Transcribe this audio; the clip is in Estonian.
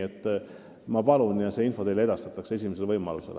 Seda ma palungi ja see info edastatakse teile esimesel võimalusel.